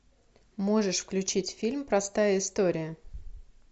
можешь включить фильм простая история